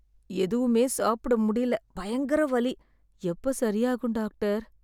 எதுவுமே சாப்பிட முடியல, பயங்கர வலி. எப்ப சரியாகும் டாக்டர்?